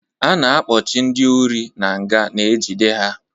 A na-akpọchi ndị ori n'nga na-ejide ha